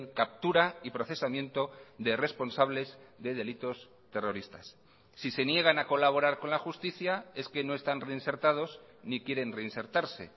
captura y procesamiento de responsables de delitos terroristas si se niegan a colaborar con la justicia es que no están reinsertados ni quieren reinsertarse